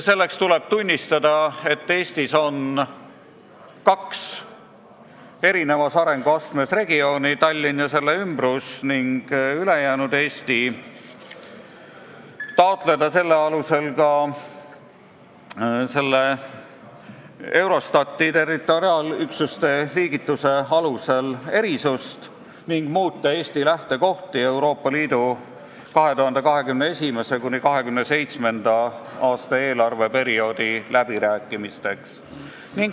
Selleks tuleb tunnistada, et Eestis on kaks erineval arenguastmel regiooni – Tallinn ja selle ümbrus ning ülejäänud Eesti –, taotleda sellele toetudes ka Eurostati territoriaalüksuste liigituse alusel erisust ning muuta Eesti lähtekohti Euroopa Liidu 2021.–2027. aasta eelarveperioodi läbirääkimisteks.